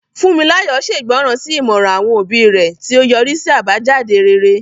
Funmilayo ṣègbọràn sí ìmọ̀ràn àwọn òbí rẹ̀, tí ó yọrí sí àbájáde rere.